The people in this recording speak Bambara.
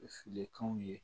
Filenkanw ye